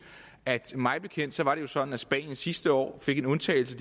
at mig bekendt var det jo sådan at spanien sidste år fik en undtagelse